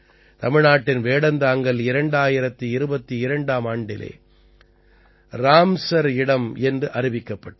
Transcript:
தமிழ்நாட்டின் வேடந்தாங்கல் 2022ஆம் ஆண்டிலே ராம்ஸர் சைட் என்று அறிவிக்கப்பட்டது